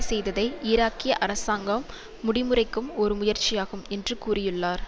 செய்ததை ஈராக்கிய அரசாங்கம் முடிமுறைக்கும் ஒரு முயற்சியாகும் என்று கூறியுள்ளார்